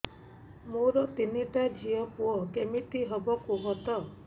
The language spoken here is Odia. ମୋର ତିନିଟା ଝିଅ ପୁଅ କେମିତି ହବ କୁହତ